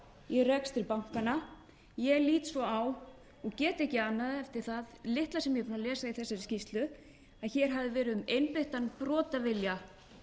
í rekstri bankanna ég lít svo á og get ekki annað eftir það litla sem ég hef lesið í þessari skýrslu að hér hafi verið um einbeittan brotavilja